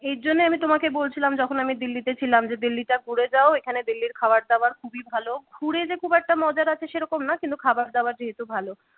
এর জন্য আমি তোমাকে বলছিলাম যখন আমি দিল্লিতে ছিলাম যে দিল্লীটা ঘুরে যাও এখানে দিল্লির খাবার দাবার খুবই ভালো । ঘুরে যে খুব একটা মজার আছে সেরকম না কিন্তু খাবার দাবার যেহেতু ভালো